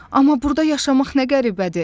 Amma burda yaşamaq nə qəribədir.